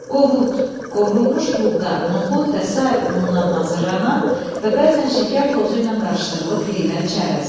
Qovut, qovrulmuş buğda, noxud və sair unundan hazırlanan və bəzən şəkər tozu ilə qarışdırılıb yeyilən çərəz.